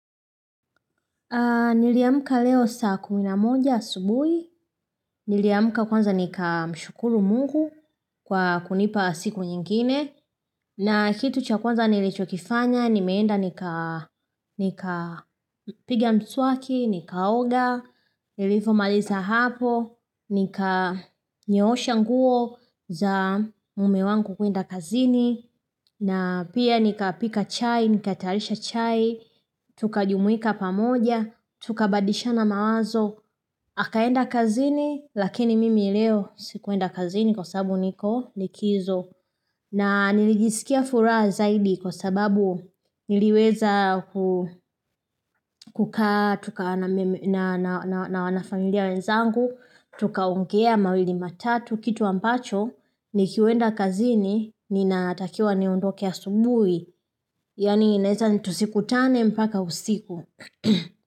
Niliamka leo saa kuminamoja asubuhi, niliamka kwanza nika mshukuru mungu kwa kunipa siku nyingine, na kitu cha kwanza nilichokifanya, nimeenda nika piga mswaki, nikaoga, nilifo maliza hapo, nika nyoosha nguo za mume wangu kwenda kazini, na pia nikapika chai, nikatayarisha chai, tukajumuika pamoja, tukabadisha na mawazo. Akaenda kazini lakini mimi leo sikuenda kazini kwa sababu niko likizo. Na nilijisikia furaha zaidi kwa sababu niliweza kukaa tuka na wanafamilia wenzangu, Tuka ongea mawili matatu kitu ambacho ni kiwenda kazini ni natakiwa niondoke asubuhi Yani ineza ni tusikutane mpaka usiku.